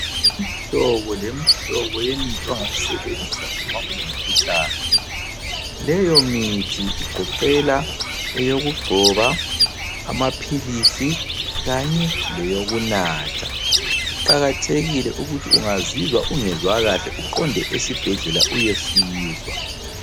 Imihlobo lemihlobo yemithi ongayisebenzisa uma ulomkhuhlane. Leyo mithi igoqela eyokugcoba, amaphilisi kanye leyokunatha. Kuqakathekile ukuthi ungazizwa ungezwa kahle uqonde esibhedlela uyosizwa.